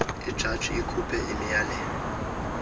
ijaji ikhuphe imiyalelo